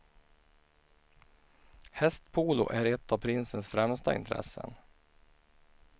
Hästpolo är ett av prinsens främsta intressen.